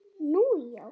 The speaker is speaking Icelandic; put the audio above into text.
Nú já.